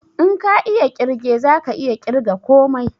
In ka iya ƙirge zaka iya ƙirga komai